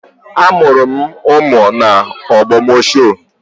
Amụrụ m ụmụ m n'Ogbomosho